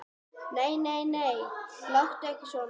Nei, nei, láttu ekki svona.